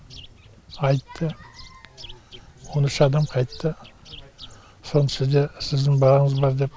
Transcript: айтты он үш адам қайтты соның ішінде сіздің балаңыз бар деп